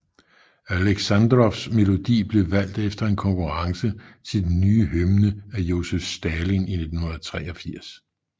Aleksandrovs melodi blev valgt efter en konkurrence til den nye hymne af Josef Stalin i 1943